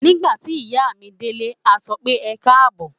Nígbà tí ìyá mi délé, a sọ pé "ẹ káàbọ̀.